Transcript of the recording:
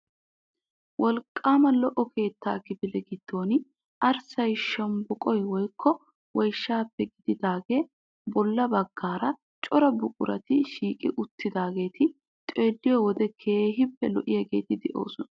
Wolqqaama lo"o keettaa kifile giddon arssay shombboqoy woykko woyshshaappe giigidaagee bolla baggaara cora buqurati shiiqi uttidaageeti xeelliyo wode keehippe lo"iyageeti de'oosona.